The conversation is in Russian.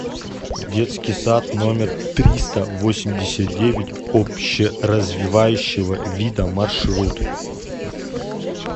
детский сад номер триста восемьдесят девять общеразвивающего вида маршрут